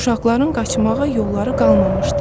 Uşaqların qaçmağa yolları qalmamışdı.